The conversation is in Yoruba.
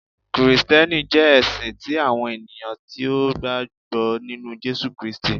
Kristiẹniti jẹ ẹsin ti awọn eniyan ti o gbagbọ ninu Jesu Kristi.